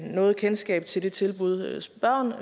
noget kendskab til det tilbud spørgeren